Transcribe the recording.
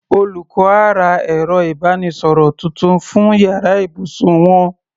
Olùkọ́ á ra ẹ̀rọ ìbánisọ̀rọ̀ tuntun fún yàrá ibùsùn wọn.